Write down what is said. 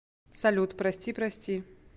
салют прости прости